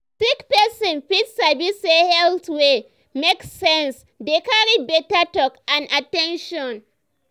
sick person fit sabi say health wey make sense dey carry better talk and at ten tion.